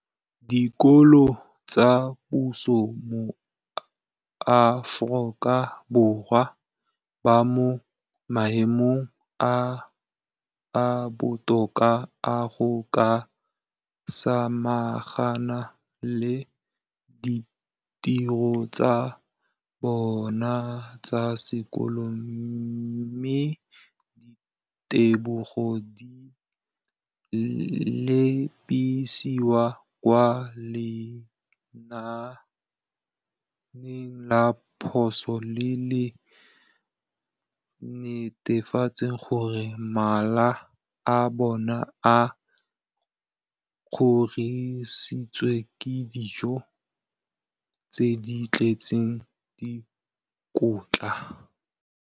dikolo tsa puso mo Aforika Borwa ba mo maemong a a botoka a go ka samagana le ditiro tsa bona tsa sekolo, mme ditebogo di lebisiwa kwa lenaaneng la puso le le netefatsang gore mala a bona a kgorisitswe ka dijo tse di tletseng dikotla.